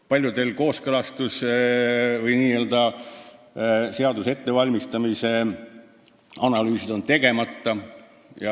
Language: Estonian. Paljude kooskõlastuste või seaduste ettevalmistamise korral on analüüsid tegemata.